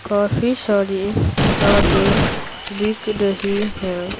काफी सारी किताबें बिक रही हैं।